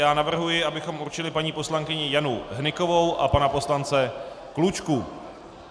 Já navrhuji, abychom určili paní poslankyni Janu Hnykovou a pana poslance Klučku.